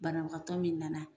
Banabagatɔ min nana